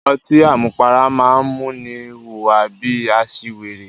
Ọtí àmupara máa ń múni hùwà bí i aṣiwèrè.